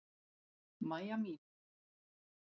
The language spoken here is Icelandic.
Mæja mín.